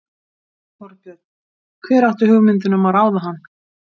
Þorbjörn: Hver átti hugmyndina um að ráða hann?